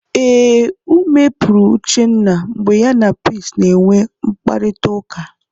Ee, ume pụrụ Uchenna mgbe ya na Peace na-enwe mkparịtaụka.